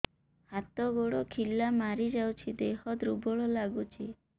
ହାତ ଗୋଡ ଖିଲା ମାରିଯାଉଛି ଦେହ ଦୁର୍ବଳ ଲାଗୁଚି